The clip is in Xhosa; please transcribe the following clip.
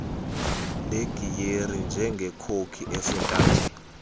legiyeri njengekhoki esentanjeni